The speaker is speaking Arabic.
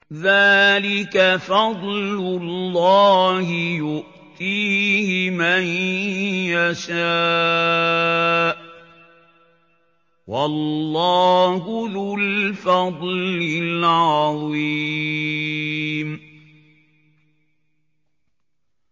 ذَٰلِكَ فَضْلُ اللَّهِ يُؤْتِيهِ مَن يَشَاءُ ۚ وَاللَّهُ ذُو الْفَضْلِ الْعَظِيمِ